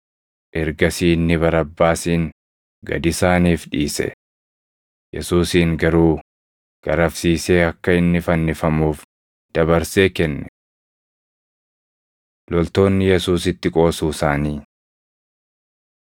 Ergasii inni Barabbaasin gad isaaniif dhiise. Yesuusin garuu garafsiisee akka inni fannifamuuf dabarsee kenne. Loltoonni Yesuusitti Qoosuu Isaanii 27:27‑31 kwf – Mar 15:16‑20